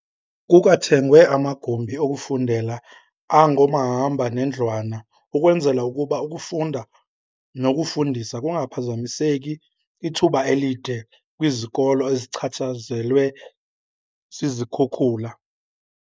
Kukwathengwe amagumbi okufundela angomahamba nendlwana ukwenzela ukuba ukufunda nokufundisa kungaphazamiseki ithuba elide kwizikolo ezichatshazelwe zizikhukula.